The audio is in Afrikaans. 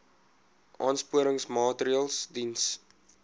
aansporingsmaatre ls diens